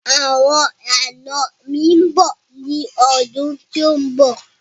Àwọn àná mi mbọ ni ọdún tí o mb